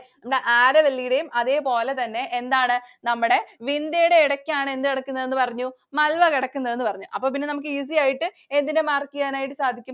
നമ്മുടെ Aravalli യുടെയും അതേപോലെതന്നെ എന്താണ് നമ്മടെ Vindya യുടെയും ഇടക്കാണ് എന്ത് കിടക്കുന്നതെന്നു പറഞ്ഞു? Malwa കിടക്കുന്നതെന്നു പറഞ്ഞു. അപ്പോപ്പിന്നെ നമുക്ക് easy ആയിട്ട് എന്തിനെ mark ചെയ്യാനായിട്ടു സാധിക്കും?